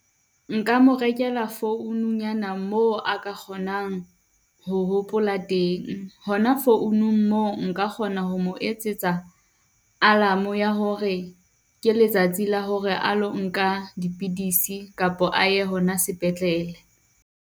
Nka mo rekela foununyana, moo a ka kgonang ho hopola teng. Hona founung moo nka kgona ho mo etsetsa alarm ya hore ke letsatsi la hore a lo nka dipidisi kapo a ye hona sepetlele.